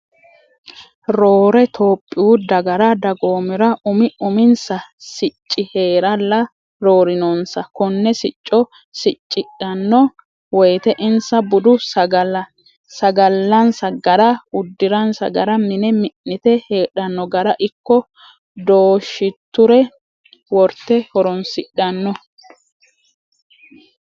Roore tophiyu dagara dagoomira umi uminsa sicci heeralla roorinonsa kone sicco siccidhano woyte insa bude sagalansa gara uddiransa gara mine mi'nite heedhano gara ikko dooshiture worte horonshidhano.